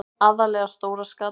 Aðallega stóra skatan.